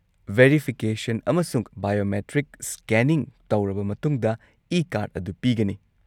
Verification ꯑꯃꯁꯨꯡ biometric scanning ꯇꯧꯔꯕ ꯃꯇꯨꯡꯗ ꯏ-ꯀꯥꯔꯗ ꯑꯗꯨ ꯄꯤꯒꯅꯤ꯫